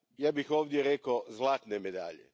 Ja bih ovdje rekao zlatne medalje.